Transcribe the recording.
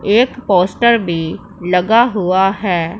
एक पोस्टर भी लगा हुआ है।